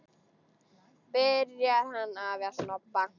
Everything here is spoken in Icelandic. Byrjar hann afi að snobba!